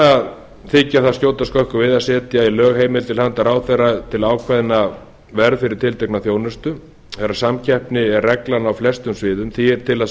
að þykja það skjóta skökku við að setja í lög heimild til handa ráðherra til að ákveða verð fyrir tiltekna þjónustu þegar samkeppni er reglan á flestum sviðum því er til að